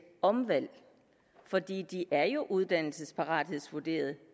omvalg for de de er jo uddannelsesparathedsvurderet